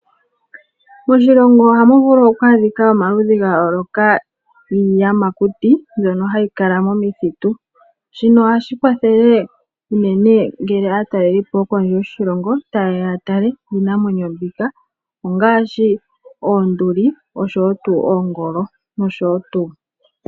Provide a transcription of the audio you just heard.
Moshilongo ohamu vulu oku adhika omaludhi ga yooloka giiyamakuti mbyono hayi kala momithitu shino ohashi kwathele unene ngele aatalelipo yokondje yoshilongo tayeya yatale iinamwenyo mbika ngaashi oonduli, oongolo noshowo tuu.